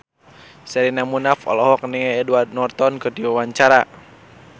Sherina Munaf olohok ningali Edward Norton keur diwawancara